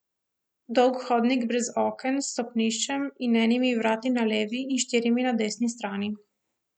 Dolg hodnik brez oken, s stopniščem in enimi vrati na levi in štirimi na desni strani.